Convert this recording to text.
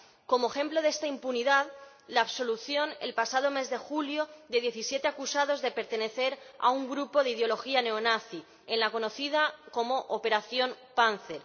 Como ejemplo de esta impunidad está la absolución, el pasado mes de julio, de diecisiete acusados de pertenecer a un grupo de ideología neonazi en la conocida como Operación Pánzer.